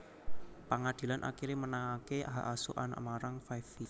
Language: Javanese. Pangadilan akiré menangaké hak asuh anak marang Five Vi